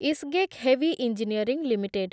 Isgec heavy engineering limited